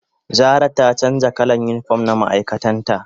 zara ta canja kalan unipom na ma'aikatan ta